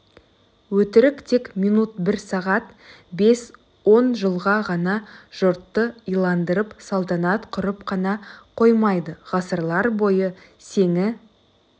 өтірік тек минут бір сағат бес он жыл ғана жұртты иландырып салтанат құрып қана қоймайды ғасырлар бойы сеңі